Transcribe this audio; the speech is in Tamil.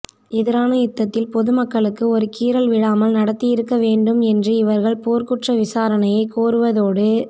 எதிரான யுத்தத்தில் பொதுமக்களுக்கு ஒரு கீறல் விழாமல் நடாத்தியிருக்க வேண்டுமென்று இவர்கள் போர்க்குற்ற விசாரணையைக் கோருவதோடு